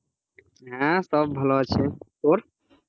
হ্যাঁ, সব ভালো আছে, তোর